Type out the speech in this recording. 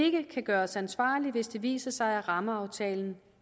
ikke kan gøres ansvarlig hvis det viser sig at rammeaftalen